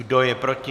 Kdo je proti?